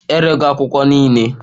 Erego akwụkwọ niile.